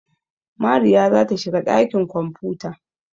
Mariya za ta shiga ɗakin kwamfuta.